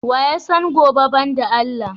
Wa ya san gobe ban da Allah?